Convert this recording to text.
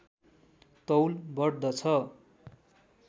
तौल बढ्दछ